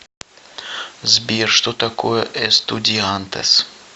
сбер что такое эстудиантес